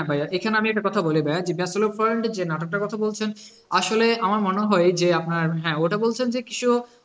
হ্যাঁ ভাইয়া এখানে আমি একটা কথা বলি ভাইয়া যে যে নাটকটার কথা বলছেন, আসলে আমার মনে হয় যে হ্যাঁ ওটা বলছেন যে কিছু